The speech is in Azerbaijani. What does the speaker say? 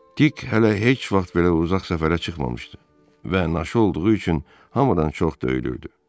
Dik hələ heç vaxt belə uzaq səfərə çıxmamışdı və naşı olduğu üçün hamıdan çox döyülürdü.